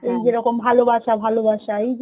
যেরকম ভালো বাসা ভালো বাসা, এই যে